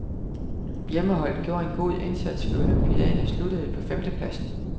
Hjemmeholdet gjorde en god indsats ved olympiaden og sluttede på femtepladsen.